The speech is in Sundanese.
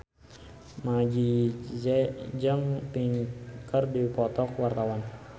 Meggie Z jeung Pink keur dipoto ku wartawan